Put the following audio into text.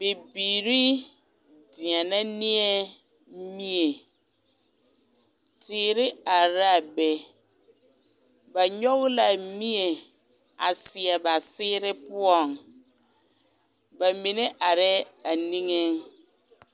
Bibiiri deɛnɛ neɛ mie, teere araa be, ba nyɔge l'a mie a seɛ ba seere poɔŋ, bamine arɛɛ a niŋeŋ.